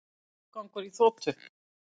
Rottugangur í þotu